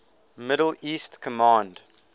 middle east command